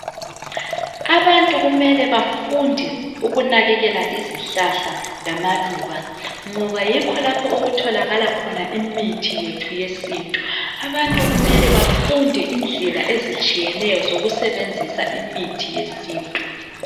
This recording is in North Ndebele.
abantu kumele bafunde ukunakekela izihlahla lamaluba ngoba yikho lapho okutholakala khona imithi yethu yesintu abantu kumele befunde indlela ezitshiyeneyo yokusebenzisa imithi yesintu